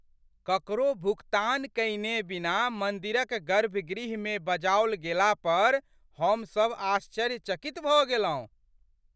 ककरो भुगतान कयने बिना मन्दिरक गर्भगृहमे बजाओल गेला पर हम सभ आश्चर्यचकित भऽ गेलहुँ।